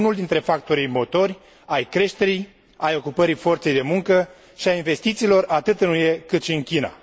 Unul dintre factorii motor ai creșterii, ai ocupării forței de muncă și a investițiilor atât în UE cât și în China.